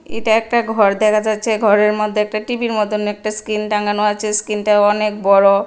এটা একটা ঘর দেখা যাচ্ছে ঘরের মদ্যে একটা টিবির মতন একটা স্ক্রিন টাঙানো আছে স্ক্রিনটা অনেক বড়।